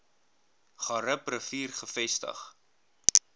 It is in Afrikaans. garib rivier gevestig